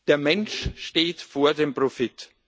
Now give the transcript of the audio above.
Der Mensch steht über dem Profit.